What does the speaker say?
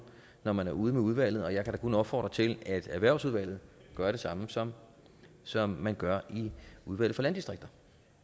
når man er ude med udvalget og jeg kan da kun opfordre til at erhvervsudvalget gør det samme som som man gør i udvalget for landdistrikter